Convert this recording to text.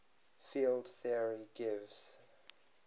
field theory gives